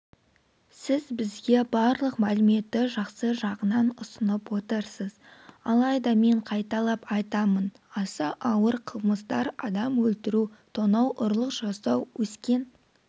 сіз бізге барлық мәліметті жақсы жағынан ұсынып отырсыз алайда мен қайталап айтамын аса ауыр қылмыстар адам өлтіру тонау ұрлық жасау өскен